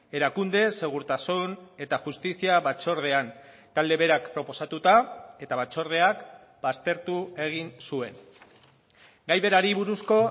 erakunde segurtasun eta justizia batzordean talde berak proposatuta eta batzordeak baztertu egin zuen gai berari buruzko